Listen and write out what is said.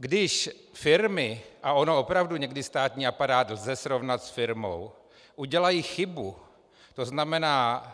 Když firmy, a ono opravdu někdy státní aparát lze srovnat s firmou, udělají chybu, to znamená,